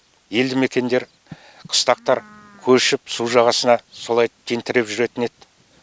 елді мекендер қыстақтар көшіп су жағасына солай тентіреп жүретін еді